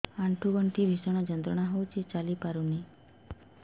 ଆଣ୍ଠୁ ଗଣ୍ଠି ଭିଷଣ ଯନ୍ତ୍ରଣା ହଉଛି ଚାଲି ପାରୁନି